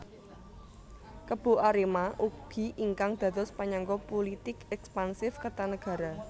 Kebo Arema ugi ingkang dados penyangga pulitik ekspansif Kertanagara